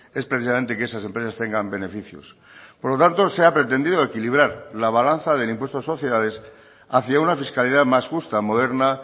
es precisamente que esas empresas tengan beneficios por lo tanto se ha pretendido equilibrar la balanza del impuesto de sociedades hacia una fiscalidad más justa moderna